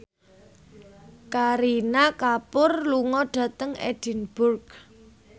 Kareena Kapoor lunga dhateng Edinburgh